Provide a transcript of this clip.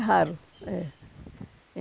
raro. É